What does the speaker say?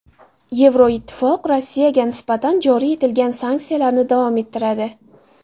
Yevroittifoq Rossiyaga nisbatan joriy etilgan sanksiyalarni davom ettiradi.